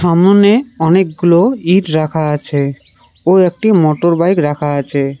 সামোনে অনেকগুলো ইট রাখা আছে ও একটি মোটর বাইক রাখা আছে।